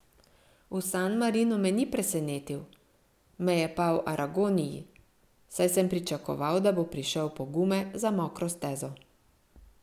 V San Marinu me ni presenetil, me je pa v Aragoniji, saj sem pričakoval, da bo prišel po gume za mokro stezo.